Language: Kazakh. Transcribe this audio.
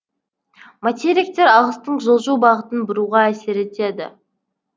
материктер ағыстың жылжу бағытын бұруға әсер етеді